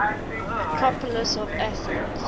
acropolis of athens